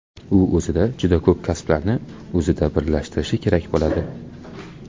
U o‘zida juda ko‘p kasblarni o‘zida birlashtirishi kerak bo‘ladi.